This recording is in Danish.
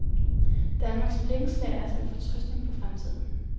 Danmarks blikkenslagere ser med fortrøstning på fremtiden.